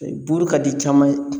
E buru ka di caman ye